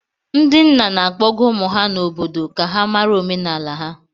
Ndị nna na-akpọga ụmụ ha n'obodo ka ha mara omenala ha